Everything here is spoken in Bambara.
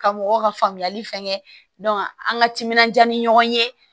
Ka mɔgɔw ka faamuyali fɛn kɛ an ka timinandiya ni ɲɔgɔn ye